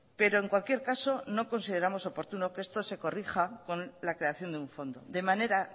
pero en cualquier caso no consideramos oportuno que esto se corrija con la creación de un fondo de manera